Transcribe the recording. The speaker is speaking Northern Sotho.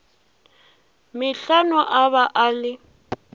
metlhano a ba a le